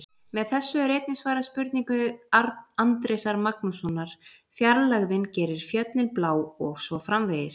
Með þessu er einnig svarað spurningu Andrésar Magnússonar: Fjarlægðin gerir fjöllin blá og svo framvegis.